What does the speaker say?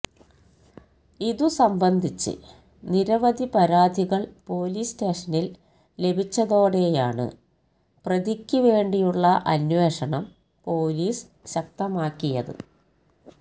ഇതു സംബന്ധിച്ച് നിരവധി പരാതികള് പൊലീസ് സ്റ്റേഷനില് ലഭിച്ചതോടെയാണ് പ്രതിക്ക് വേണ്ടിയുള്ള അന്വേഷണം പൊലീസ് ശക്തമാക്കിയത്